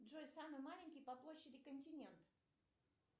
джой самый маленький по площади континент